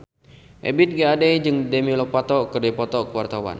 Ebith G. Ade jeung Demi Lovato keur dipoto ku wartawan